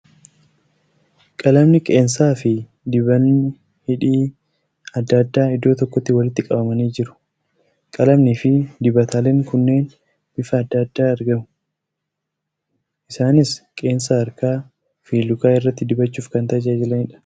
Qalamni qeensaa fi dibanni hidhii adda addaa iddoo tokkotti walitti qabamanii jieu . Qalamnii fi dibataaleen kunneen bifa adda addaa argamu. Isaaniis qeensa harkaa fi lukaa irratti dibachuuf kan tajaajilaniidha.